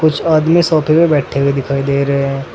कुछ आदमी सोफे पे बैठे हुए दिखाई दे रहे हैं।